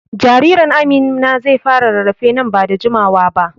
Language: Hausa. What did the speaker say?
Jaririn Amina zai fara rarrafe nan ba da jimawa ba.